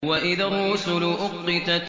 وَإِذَا الرُّسُلُ أُقِّتَتْ